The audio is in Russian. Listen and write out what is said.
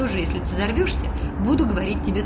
тоже если ты взорвёшься буду говорить тебе